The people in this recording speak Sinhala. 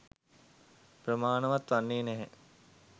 ප්‍රමාණවත් වන්නේ නැහැ